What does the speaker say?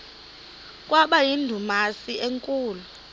kwaba yindumasi enkulu